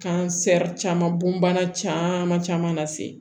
Kansɛri caman bon bana caman caman na se